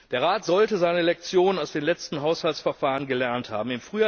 Der Rat sollte seine Lektionen aus den letzten Haushaltsverfahren gelernt haben.